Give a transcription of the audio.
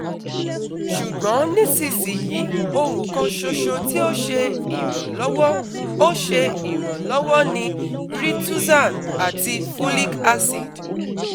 Ṣugbọn nisisiyi ohun kan ṣoṣo ti o ṣe iranlọwọ o ṣe iranlọwọ ni rituxan ati Folic acid